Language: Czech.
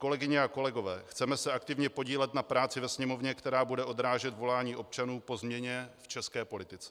Kolegyně a kolegové, chceme se aktivně podílet na práci ve Sněmovně, která bude odrážet volání občanů po změně v české politice.